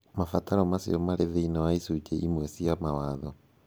Mabataro macio marĩ thĩinĩ wa icunjĩ imwe cia Mawatho.